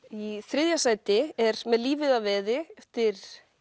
í þriðja sæti er með lífið að veði eftir